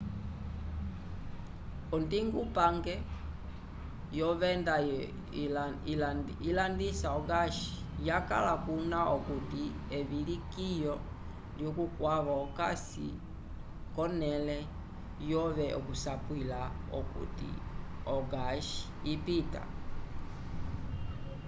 ondingupange yovenda ilandisa o-gás yakala kuna okuti evilikiyo lyukwavo okasi konẽle yove okusapwila okuti o-gás ipita